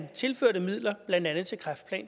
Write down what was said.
tilførte midler blandt andet kræftplan